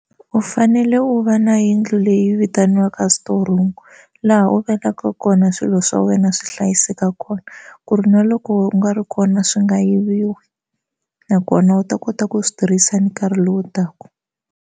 U fanele u va na yindlu leyi vitaniwaka storeroom laha u vekaka kona swilo swa wena swi hlayiseka kona ku ri na loko u nga ri kona swi nga yiviwi nakona u ta kota ku swi tirhisa nkarhi lowu taka.